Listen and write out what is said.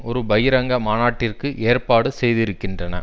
ஒரு பகிரங்க மாநாட்டிற்கு ஏற்பாடு செய்திருக்கின்றன